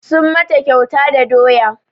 Sun mata kyauta da doya